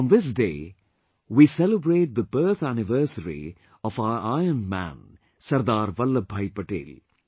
On this day we celebrate the birth anniversary of our Iron Man Sardar Vallabhbhai Patel